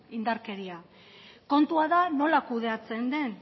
indarkeria kontua da nola kudeatzen den